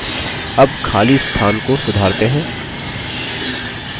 अब खाली स्थान को सुधारते हैं